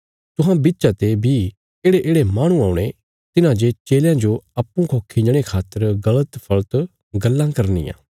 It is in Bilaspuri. तुहां बिच्चा ते बी येढ़ेयेढ़े माहणु औणे तिन्हांजे चेलयां जो अप्पूँ खौ खिंजणे खातर गल़त फल़त गल्लां करनियां